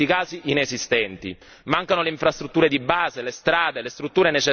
Mancano le infrastrutture di base, le strade, le strutture necessarie ad affrontare l'emergenza.